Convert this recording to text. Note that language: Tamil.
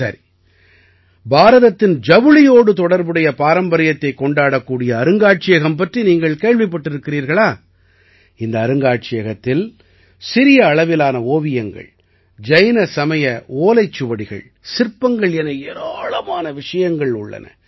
சரி பாரதத்தின் ஜவுளியோடு தொடர்புடைய பாரம்பரியத்தைக் கொண்டாடக்கூடிய அருங்காட்சியம் பற்றி நீங்கள் கேள்விப்பட்டிருகிறீர்களா இந்த அருங்காட்சியகத்தில் சிறிய அளவிலான ஓவியங்கள் ஜைன சமய ஓலைச்சுவடிகள் சிற்பங்கள் என ஏராளமான விஷயங்கள் உள்ளன